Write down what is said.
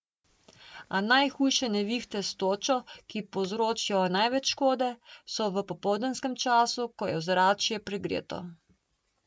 A najhujše nevihte s točo, ki povzročijo največ škode, so v popoldanskem času, ko je ozračje pregreto.